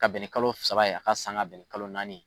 Ka bɛn ni saba ye, a ka san ka bɛn kalo naani ye.